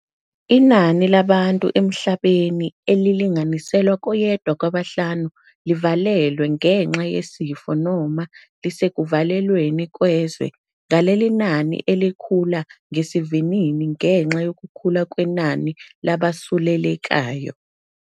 Inani labantu emhlabeni elili-nganiselwa koyedwa kwabahlanu livalelwe ngenxa yesifo noma lisekuvalweni kwezwe, ngaleli nani elikhula ngesivinini ngenxa yokukhula kwenani labasulelekayo.